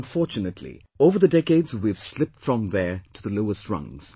Unfortunately, over the decades we have slipped from there to the lowest rungs